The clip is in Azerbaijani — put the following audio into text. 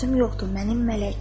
Sözüm yoxdur, mənim mələkəm.